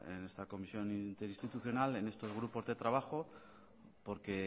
en esta comisión interinstitucional en estos grupos de trabajo porque